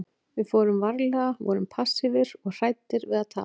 Við fórum varlega, vorum passífir og hræddir við að tapa.